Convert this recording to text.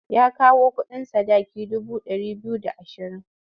Ya kawo kuɗin sadaki dubu ɗari biyu da ashirin.